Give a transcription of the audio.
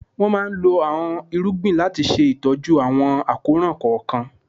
Wọ́n máa lo àọn irúgbìn láti ṣe ìtọ́jú àwọn àkóràn kọ̀ọ̀kan.